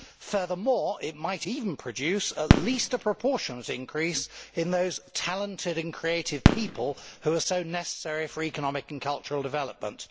Furthermore it might even produce at least a proportionate increase in those talented and creative people who are so necessary for economic and cultural development.